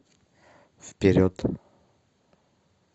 вперед